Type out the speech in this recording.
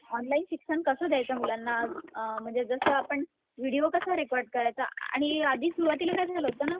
online शिक्षण कसं द्यायचं मुलांना अ म्हणजे जसं आपण विडिओ कसा रेकॉर्ड करायचा आणि आधी सुरुवातीला काय झालं होतं